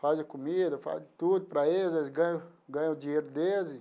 Faz a comida, faz tudo para eles, eles ganham ganham o dinheiro deles.